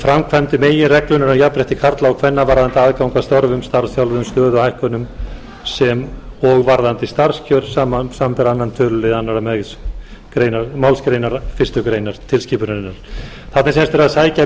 framkvæmd meginreglunnar um jafnrétti karla og kvenna varðandi aðgang að störfum starfsþjálfun og stöðuhækkunum sem og varðandi starfskjör samanber annar töluliður annarri málsgrein fyrstu grein tilskipunarinnar þarna er sem sagt verið að sækja